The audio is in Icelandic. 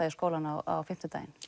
í skólann á fimmtudaginn